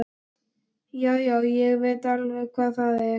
Já, já, ég veit alveg hvar það er.